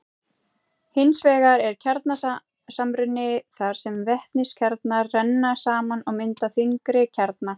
hins vegar er kjarnasamruni þar sem vetniskjarnar renna saman og mynda þyngri kjarna